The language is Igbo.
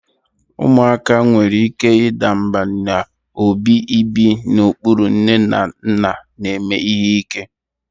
Ụmụaka nwere ike ịda mbà n'obi ibi n'okpuru nne na nna na-eme ihe ike: